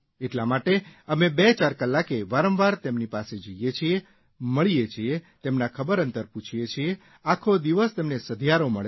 એટલા માટે અમે બેચાર કલાકે વારંવાર તેમની પાસે જઇએ છીએ મળીએ છીએ તેમના ખબર અંતર પૂછીએ છીએ આખો દિવસ તેમને સધિયારો મળે છે